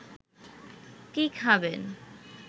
কী খাবেন